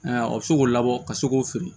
o bɛ se k'o labɔ ka se k'o feere